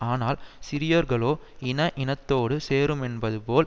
ஆனால் சிறியோர்களோ இன இனத்தோடு சேருமென்பதுபோல்